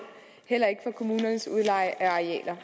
heller ikke for kommunernes udleje af arealer